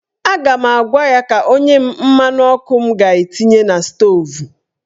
A ga m agwa ya ka o nye m mmanụ ọkụ m ga-etinye na stoovu.